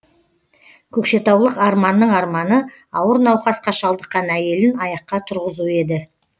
көкшетаулық арманның арманы ауыр науқасқа шалдыққан әйелін аяққа тұрғызу еді